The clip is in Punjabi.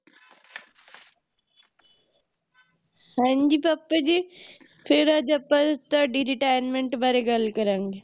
ਹਾਂਜੀ ਪਾਪਾ ਜੀ ਫਿਰ ਅੱਜ ਅੱਪਾ ਤੁਹਾਡੀ Retirement ਬਾਰੇ ਗੱਲ ਕਰਾਂਗੇ